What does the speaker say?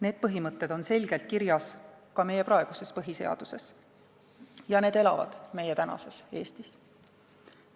Need põhimõtted on selgelt kirjas ka meie praeguses põhiseaduses ja need elavad meie tänases Eestis.